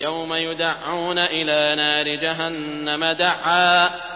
يَوْمَ يُدَعُّونَ إِلَىٰ نَارِ جَهَنَّمَ دَعًّا